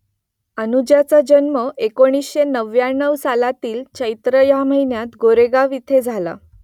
अनुजाचा जन्म एकोणीसशे नव्व्याण्णव सालातील चैत्र या महिन्यात कोरेगाव इथे झाला